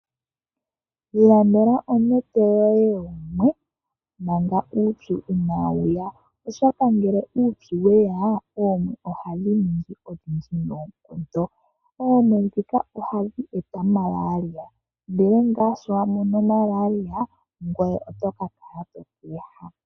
Iilandela onete yoye yeemwe mpanga uupyu inaa wuya , oshoka ngele uupyu weya oomwe ohadhi ningi odhindji noonkondo, oomwe dhika ohadhi eta omalaria ndele ngaa shi wamono malaria otoka kala tweehama .